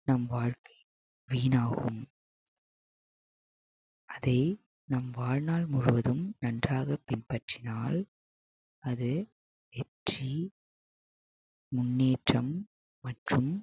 நம் வாழ்க்கை வீணாகும் அதை நம் வாழ்நாள் முழுவதும் நன்றாக பின்பற்றினால் அது வெற்றி முன்னேற்றம் மற்றும்